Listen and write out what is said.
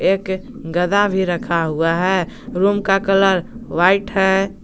एक गदा भी रखा हुआ है रूम का कलर व्हाइट है।